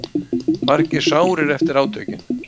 Margir sárir eftir átökin